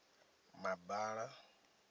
mabala